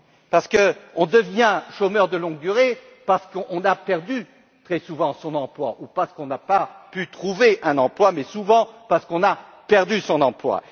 Parce qu'on devient chômeur de longue durée parce qu'on a perdu très souvent son emploi ou parce qu'on n'a pas pu trouver un emploi, mais souvent parce qu'on a perdu son emploi.